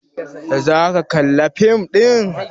Za aka kalla fim ɗin?